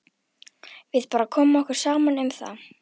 Við bara komum okkur saman um það.